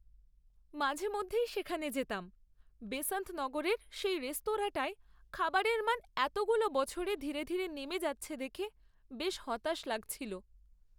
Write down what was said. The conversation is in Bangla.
মাঝেমধ্যেই সেখানে যেতাম, বেসান্ত নগরের সেই রেস্তোরাঁটায় খাবারের মান এতগুলো বছরে ধীরে ধীরে নেমে যাচ্ছে দেখে বেশ হতাশ লাগছিল।